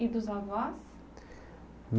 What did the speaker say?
E dos avós?